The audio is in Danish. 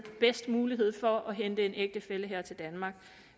bedst mulighed for at hente en ægtefælle her til danmark